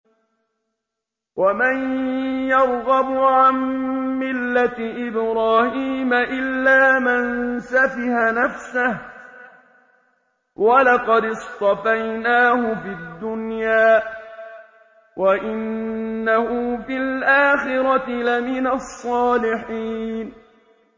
وَمَن يَرْغَبُ عَن مِّلَّةِ إِبْرَاهِيمَ إِلَّا مَن سَفِهَ نَفْسَهُ ۚ وَلَقَدِ اصْطَفَيْنَاهُ فِي الدُّنْيَا ۖ وَإِنَّهُ فِي الْآخِرَةِ لَمِنَ الصَّالِحِينَ